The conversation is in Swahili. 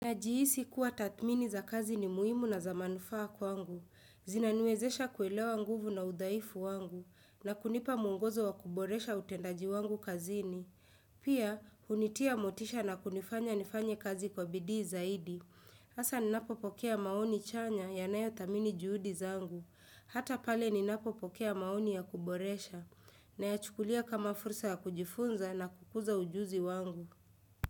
Najihisi kuwa tathmini za kazi ni muhimu na za manufaa kwangu. Zinaniwezesha kuelewa nguvu na udhaifu wangu. Na kunipa mwongozo wa kuboresha utendaji wangu kazini. Pia, hunitia motisha na kunifanya nifanye kazi kwa bidii zaidi. Hasa ninapopokea maoni chanya yanayo thamini juhudi zangu. Hata pale ninapo pokea maoni ya kuboresha. Nayachukulia kama fursa ya kujifunza na kukuza ujuzi wangu.